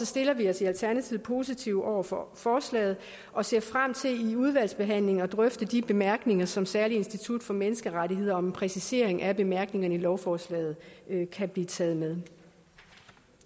stiller vi os i alternativet positive over for forslaget og ser frem til i udvalgsbehandlingen at drøfte om de bemærkninger som særlig institut for menneskerettigheder om en præcisering af bemærkningerne i lovforslaget kan blive taget med